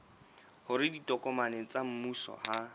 hore ditokomane tsa mmuso ha